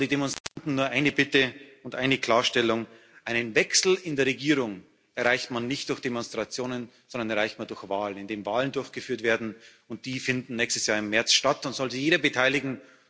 An die Demonstranten nur eine Bitte und eine Klarstellung Einen Wechsel in der Regierung erreicht man nicht durch Demonstrationen, sondern erreicht man durch Wahlen, indem Wahlen durchgeführt werden, und die finden nächstes Jahr im März statt, und es soll sich jeder beteiligen.